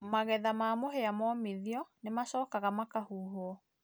magetha ma mũhĩa momĩthĩo nĩmacokaga makahũhũo